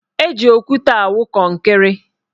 Eji okwute awụ kọnkịrị.